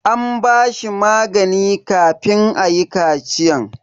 An ba shi magani kafin ayi kachiyan.